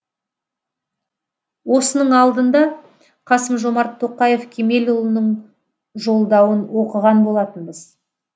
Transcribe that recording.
осының алдында қасым жомарт тоқаев кемелұлының жолдауын оқыған болатынбыз